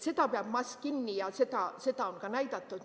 Seda peab mask kinni ja seda on ka näidatud.